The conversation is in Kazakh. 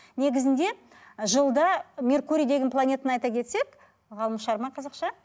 негізінде жылда меркурий деген планетаны айта кетсек ғаламшар ма қазақша